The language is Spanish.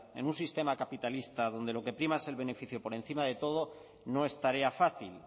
en un sistema capitalista donde lo que prima es el beneficio por encima de todo no es tarea fácil